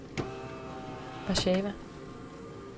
Warsawa